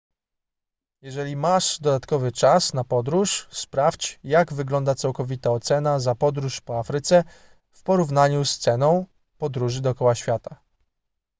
jeżeli masz dodatkowy czas na podróż sprawdź jak wygląda całkowita cena za podróż po afryce w porównaniu z ceną podróży dookoła świata